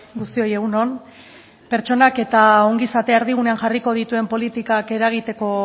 guztioi egun on pertsonak eta ongizatea erdigunean jarriko dituen politikak eragiteko